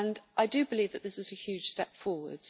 I believe that this is a huge step forward.